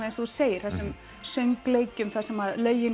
eins og þú segir þessum söngleikjum þar sem